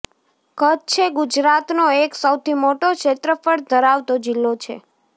કચ્છએ ગુજરાતનો એક સૌથી મોટો ક્ષેત્રફળ ધરાવતો જીલ્લો છે